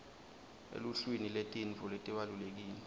eluhlwini lwetintfo letibalulekile